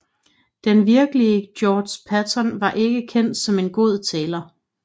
Den virkelige George Patton var ikke kendt som en god taler